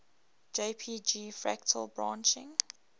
jpg fractal branching